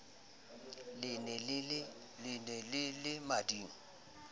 le ne le le mading